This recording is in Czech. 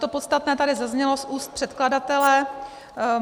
To podstatné tady zaznělo z úst předkladatele.